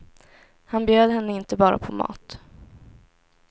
Han bjöd henne inte bara på mat.